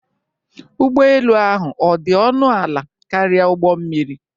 Ụgbọ elu ahụ ọ dị ọnụ ala karịa ụgbọ mmiri?